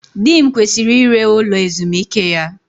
Di m kwesịrị ire ụlọ ezumike ya